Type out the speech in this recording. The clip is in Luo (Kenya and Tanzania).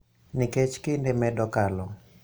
Nikech kinde medo kalo,